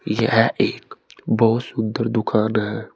यह एक बहुत सुंदर दुकान है।